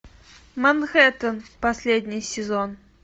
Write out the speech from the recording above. манхэттен последний сезон